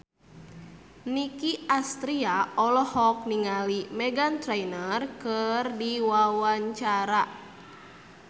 Nicky Astria olohok ningali Meghan Trainor keur diwawancara